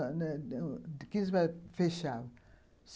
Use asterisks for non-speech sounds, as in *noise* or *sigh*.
*unintelligible* fechavam.